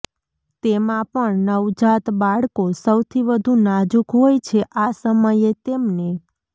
તેમાં પણ નવજાત બાળકો સૌથી વધુ નાજુક હોય છે આ સમયે તેમને